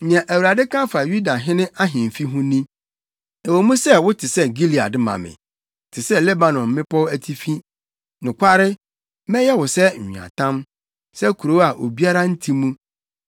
Nea Awurade ka fa Yudahene ahemfi ho ni: “Ɛwɔ mu wote sɛ Gilead ma me, te sɛ Lebanon mmepɔw atifi, nokware, mɛyɛ wo sɛ nweatam, sɛ nkurow a obiara nte mu.